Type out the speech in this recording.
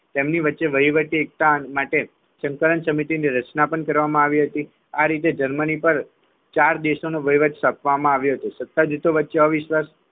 તેમની વચ્ચે વહીવટી એકતા માટે સંકલન સમિતિની રચના કરવામાં આવી હતી આ રીતે જર્મની પર ચાર દેશોનો વહીવટ સોંપવામાં આવ્યો હતો સતત જૂથો વચ્ચે અવિશ્વાસ